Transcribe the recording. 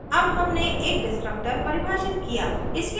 अब हमने एक destructor परिभाषित किया